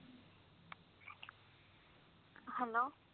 hello